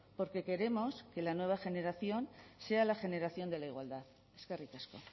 porque queremos que la nueva generación sea la generación de la igualdad eskerrik asko